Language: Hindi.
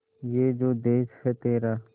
ये जो देस है तेरा